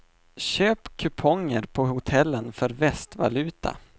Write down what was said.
Köp kuponger på hotellen för västvaluta.